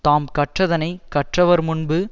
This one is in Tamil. தாம் கற்றதனை கற்றவர் முன்பு